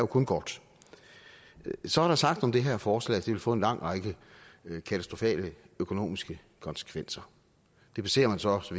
kun godt så er der sagt om det her forslag at det vil få en lang række katastrofale økonomiske konsekvenser det baserer man så også